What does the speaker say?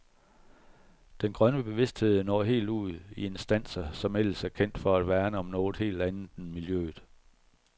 Den grønne bevidsthed når helt ud i instanser, som ellers er kendt for at værne om noget helt andet end miljøet.